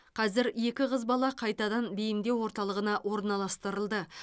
қазір екі қыз бала қайтадан бейімдеу орталығына орналастырылды